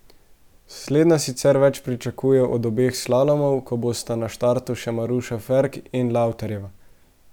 Slednja sicer več pričakuje od obeh slalomov, ko bosta na štartu še Maruša Ferk in Lavtarjeva.